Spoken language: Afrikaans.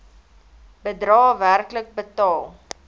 bedrae werklik betaal